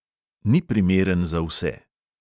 Ni primeren za vse.